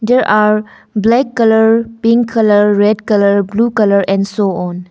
There are black colour pink colour red colour blue colour and so on.